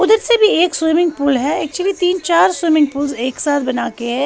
उधर से भी एक स्विमिंग पूल है एक्चुअली तीन चार स्विमिंग पूल एक साथ बना के है।